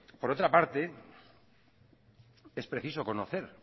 por otra parte es preciso conocer